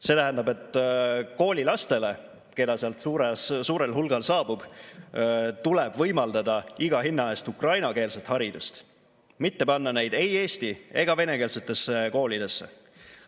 See tähendab, et koolilastele, keda sealt suurel hulgal saabub, tuleb võimaldada iga hinna eest ukrainakeelset haridust, mitte panna neid ei eesti- ega venekeelsetesse koolidesse.